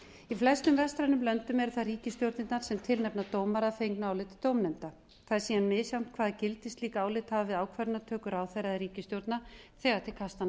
í flestum vestrænum löndum eru það ríkisstjórnirnar sem tilnefna dómara að fengnu áliti dómnefnda það er síðan misjafnt hvaða gildi slík álit hafa við ákvarðanatöku ráðherra eða ríkisstjórna þegar til kastanna